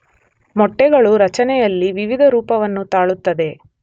ಮೊಟ್ಟೆಗಳು ರಚನೆಯಲ್ಲಿ ವಿವಿಧ ರೂಪವನ್ನು ತಾಳುತ್ತದೆ.